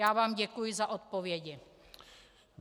Já vám děkuji za odpovědi.